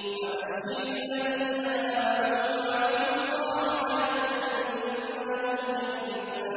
وَبَشِّرِ الَّذِينَ آمَنُوا وَعَمِلُوا الصَّالِحَاتِ أَنَّ لَهُمْ جَنَّاتٍ